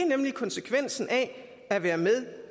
nemlig konsekvensen af at være med